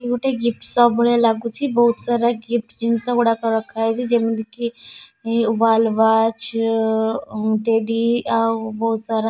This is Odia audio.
ଏଇ ଗୋଟେ ଗିଫ୍ଟ ସପ ଭଳିଆ ଲାଗୁଛି ବହୁତ ସାରା ଗିଫ୍ଟ ଜିନିଷ ଗୁଡ଼ାକ ରଖାହେଇଛି ଯେମିତିକି ୱାଲ ୱାଚ ଟେଡି ଆଉ ବହୁତ ସାରା ଗିଫ୍ଟ --